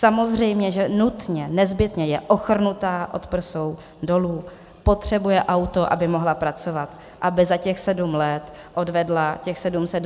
Samozřejmě že nutně, nezbytně, je ochrnutá od prsou dolů, potřebuje auto, aby mohla pracovat, aby za těch sedm let odvedla těch 726 tisíc korun.